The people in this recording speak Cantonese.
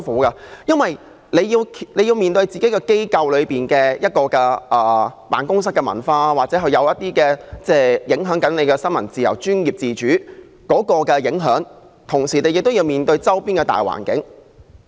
他們既要面對本身機構的辦公室文化，而這可能正在影響新聞自由和專業自主，同時亦要面對周邊的大環境。